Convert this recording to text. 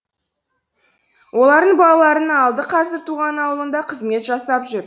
олардың балаларының алды қазір туған аулында қызмет жасап жүр